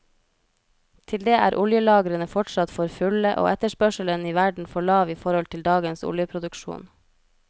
Til det er oljelagrene fortsatt for fulle, og etterspørselen i verden for lav i forhold til dagens oljeproduksjon.